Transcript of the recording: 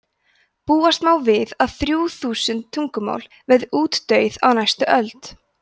búast má við að þrjú þúsund tungumál verði útdauð á næstu öld